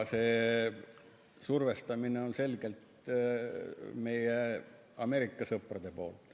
See survestamine on selgelt meie Ameerika sõprade poolt.